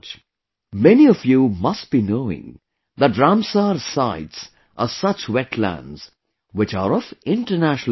Many of you must be knowing that Ramsar Sites are such wetlands which are of International Importance